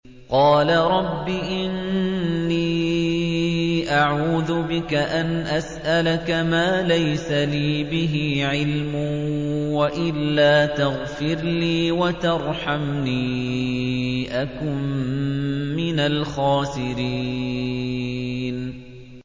قَالَ رَبِّ إِنِّي أَعُوذُ بِكَ أَنْ أَسْأَلَكَ مَا لَيْسَ لِي بِهِ عِلْمٌ ۖ وَإِلَّا تَغْفِرْ لِي وَتَرْحَمْنِي أَكُن مِّنَ الْخَاسِرِينَ